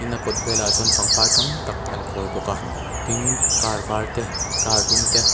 a kawt velah chuan pangpar tam tak an khawi bawka tin car var te car dum te